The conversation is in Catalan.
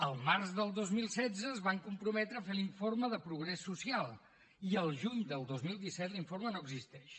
el març del dos mil setze es van comprometre a fer l’informe de progrés social i el juny del dos mil disset l’informe no existeix